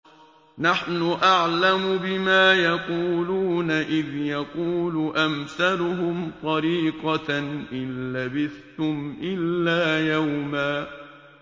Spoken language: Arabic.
نَّحْنُ أَعْلَمُ بِمَا يَقُولُونَ إِذْ يَقُولُ أَمْثَلُهُمْ طَرِيقَةً إِن لَّبِثْتُمْ إِلَّا يَوْمًا